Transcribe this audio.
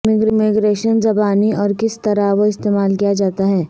immigration زبانی اور کس طرح وہ استعمال کیا جاتا ہے